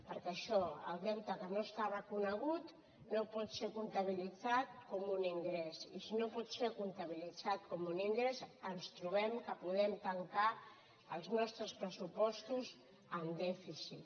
perquè això el deute que no està reconegut no pot ser comptabilitzat com un ingrés i si no pot ser comptabilitzat com un ingrés ens trobem que podem tancar els nostres pressupostos amb dèficit